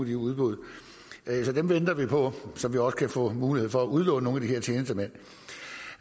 de udbud så dem venter vi på så man også kan få mulighed for at udlåne nogle